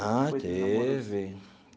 Ah, teve.